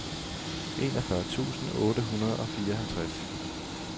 enogfyrre tusind otte hundrede og fireoghalvtreds